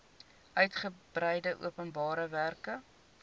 uigebreide openbare werke